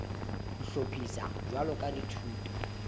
ho hlophiswa jwalo ka dithuto